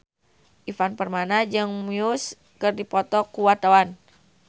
Ivan Permana jeung Muse keur dipoto ku wartawan